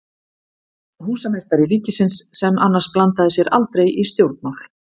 Húsameistari ríkisins, sem annars blandaði sér aldrei í stjórnmál.